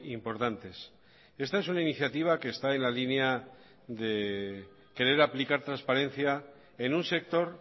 importantes esta es una iniciativa que está en la línea de querer aplicar transparencia en un sector